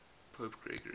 pope gregory